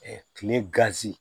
kile